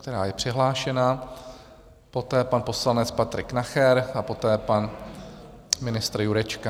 která je přihlášena, poté pan poslanec Patrik Nacher a poté pan ministr Jurečka.